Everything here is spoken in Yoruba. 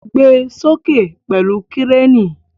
Gbe soke pẹlu Kireni!